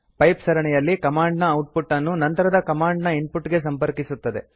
pipe ಸರಣಿಯಲ್ಲಿ command ನ output ಅನ್ನು ನಂತರದ ಕಮಾಂಡ್ ನ ಇನ್ ಪುಟ್ ಗೆ ಸಂಪರ್ಕಿಸುತ್ತದೆ